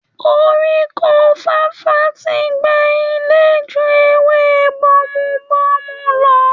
koríko fàfà ti gbà ilẹ́ ju ewé Bomubómú lọ